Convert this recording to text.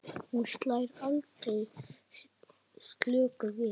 Hún slær aldrei slöku við.